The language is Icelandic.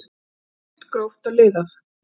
Það er stutt, gróft og liðað.